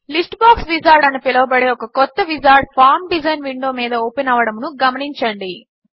list box wizard అని పిలవబడే ఒక క్రొత్త విజార్డ్ ఫార్మ్ డిజైన్ విండో మీద ఓపెన్ అవ్వడమును గమనించండి